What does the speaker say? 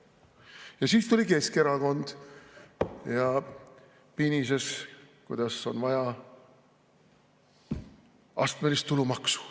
Ja siis tuli Keskerakond ja pinises, kuidas on vaja astmelist tulumaksu.